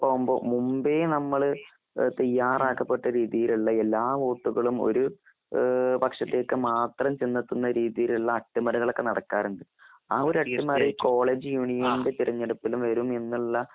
മുമ്പേ നമ്മൾ തയ്യാറാക്കപ്പെട്ട എല്ലാ വോട്ടുകളുംഒരു പക്ഷത്തേക്ക് മാത്രം ചെന്നെത്തുന്ന രീതിയിലുള്ള അട്ടിമറികൾ ഒക്കെ നടക്കാറുണ്ട്. ആ ഒരു അട്ടിമറി കോളേജ് യൂണിയന്റെ തിരഞ്ഞെടുപ്പിലും വരും എന്നുള്ള-